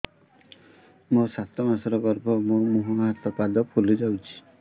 ମୋ ସାତ ମାସର ଗର୍ଭ ମୋ ମୁହଁ ହାତ ପାଦ ଫୁଲି ଯାଉଛି